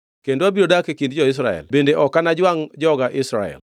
Kendo abiro dak e kind jo-Israel bende ok anajwangʼ joga Israel.”